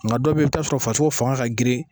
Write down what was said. Nga dɔ be yen, i bi taa sɔrɔ farisoko fanga ka girin.